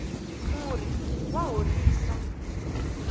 murhi wa horisa